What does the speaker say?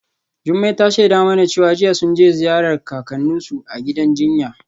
Jumai ta shaida mana cewa jiya sun je ziyartar kakanninsu a gidan jinya.